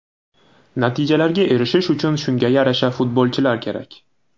Natijalarga erishish uchun shunga yarasha futbolchilar kerak.